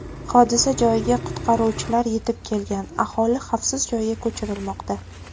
Hodisa joyiga qutqaruvchilar yetib kelgan, aholi xavfsiz joyga ko‘chirilmoqda.